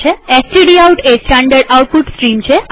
stdout એ standard output stream છે